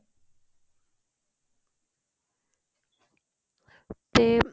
ਤੇ